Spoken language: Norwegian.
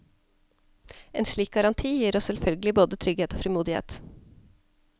En slik garanti gir oss selvfølgelig både trygghet og frimodighet.